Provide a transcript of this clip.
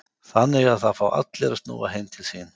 Þannig að það fá allir að snúa heim til sín?